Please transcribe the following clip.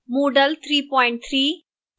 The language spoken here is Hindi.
moodle 33